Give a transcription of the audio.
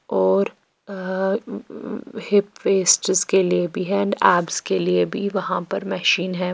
और अ hip waists के लिए भी है एंड एब्स के लिए भी वहाँ पर मशीन है।